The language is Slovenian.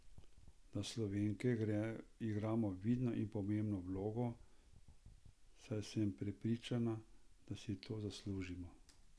Da Slovenke igramo vidno in pomembno vlogo, saj sem prepričana, da si to zaslužimo.